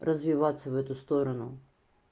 развиваться в эту сторону